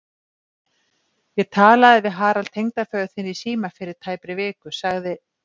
Ég talaði við Harald tengdaföður þinn í síma fyrir tæpri viku sagði